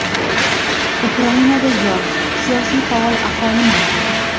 Ukrainada yosh, siyosiy faol aholi mavjud.